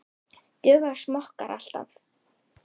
Duga smokkar alltaf?